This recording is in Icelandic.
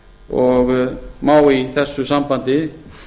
ríkisreiknings má í þessu sambandi